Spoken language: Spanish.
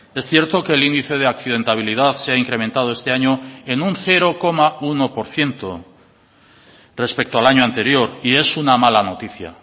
es cierto que el índice de accidentabilidad se ha incrementado este año en un cero coma uno por ciento respecto al año anterior y es una mala noticia